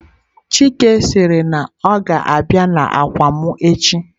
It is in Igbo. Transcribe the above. Chike siri na o ga-abia n'akwa m echi.